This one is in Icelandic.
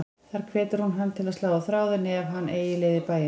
Þar hvetur hún hann til að slá á þráðinn ef hann eigi leið í bæinn.